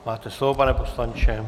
Máte slovo, pane poslanče.